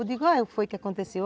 Eu digo, o que foi que aconteceu.